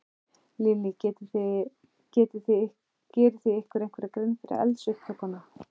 Lillý: Gerið þið ykkur einhverja grein fyrir eldsupptökum?